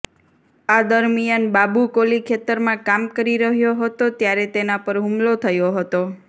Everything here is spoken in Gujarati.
આ દરમિયાન બાબુ કોલી ખેતરમાં કામ કરી રહ્યો હતો ત્યારે તેના પર હુમલો થયો હતો